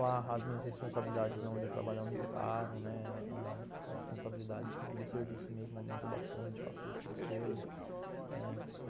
Lá as minhas responsabilidades na onde eu trabalho aumentaram, né, as responsabilidades no serviço mesmo aumentam bastante, faço outras coisas.